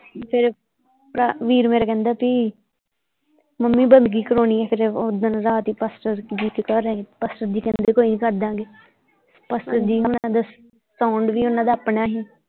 ਫੇਰ ਭਰਾ ਵੀਰ ਮੇਰਾ ਕਹਿੰਦਾ ਕੀ ਮੰਮੀ ਬੰਦਗੀ ਕਰਾਉਣੀ ਏ ਫੇਰ ਓਧਣ ਰਾਤ ਹੀ ਪਾਸਟਰ ਜੀ ਘਰ ਆਏ ਪਾਸਟਰ ਜੀ ਕਹਿੰਦੇ ਕੋਈ ਨਹੀਂ ਕਰ ਦਿਆਂ ਗੇ ਪਾਸਟਰ ਜੀ ਹੁਣਾ ਦਾ ਸਾਊਂਡ ਵੀ ਓਹਨਾਂ ਦਾ ਆਪਣਾ ਸੀ।